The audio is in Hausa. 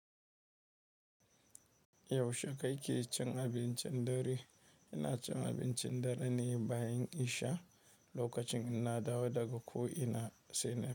Yaushe kake cin abincin dare? Ina cin abincin dare ne bayan isha, lokacin inna dawo daga ko ina sai na.